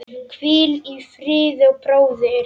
Hvíl í friði, bróðir.